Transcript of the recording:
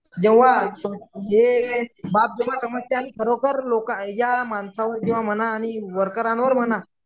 जेव्हा खरोकर लोकांना या माणसांवर म्हणा आणि वर्करांवर म्हणा